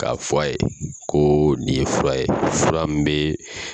k'a fɔ ye ko nin ye fura ye fura min bɛ